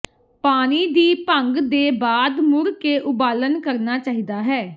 ਪਾਣੀ ਦੀ ਭੰਗ ਦੇ ਬਾਅਦ ਮੁੜ ਕੇ ਉਬਾਲਣ ਕਰਨਾ ਚਾਹੀਦਾ ਹੈ